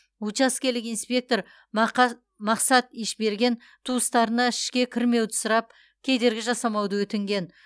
учаскелік инспектор мақсат ишберген туыстарына ішке кірмеуді сұрап кедергі жасамауды өтінген